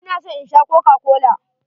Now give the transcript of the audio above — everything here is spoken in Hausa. Ina so in Sha kokakola.